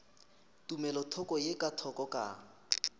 tumelothoko ye ka thoko ka